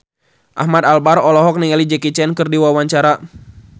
Ahmad Albar olohok ningali Jackie Chan keur diwawancara